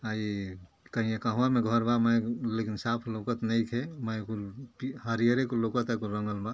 हई कइया कहवा में घर बा मय लेकिन साफ लउकत नईखे। मय कुल पी हरियरे कुल लउकता। कुल रंगल बा।